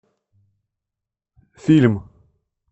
фильм